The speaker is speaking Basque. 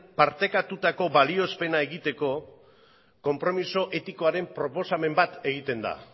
partekatutako balioespena egiteko konpromiso etikoaren proposamen bat egiten da